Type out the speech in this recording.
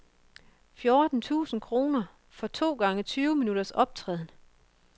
Fjorten tusind kroner for to gange tyve minutters optræden.